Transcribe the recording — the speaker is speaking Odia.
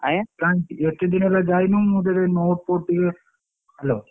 କଣ ଏତେ ଦିନହେଲା ଜାଇନୁ ମୁଁ ତତେ note ଫୋଟ ଟିକେ Hello ।